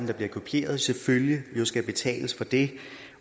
der bliver kopieret selvfølgelig skal betales for det